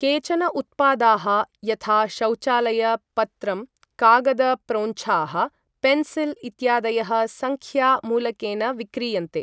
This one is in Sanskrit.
केचन उत्पादाः यथा शौचालय पत्रम्, कागद प्रोञ्छाः, पेन्सिल् इत्यादयः सङ्ख्या मूलकेन विक्रीयन्ते।